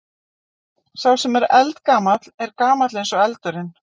Sá sem er eldgamall er gamall eins og eldurinn.